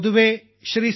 പൊതുവേ ശ്രീ